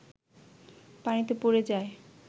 পানিতে পড়ে যায়